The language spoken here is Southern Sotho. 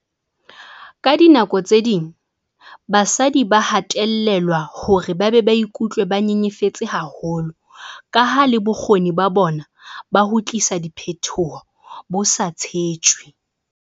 Ka dinako tse ding basadi ba hatellelwa hore ba be ba ikutlwe ba nyenyefetse haholo kaha le bokgoni ba bona ba ho tlisa diphetoho bo sa tshetjwe.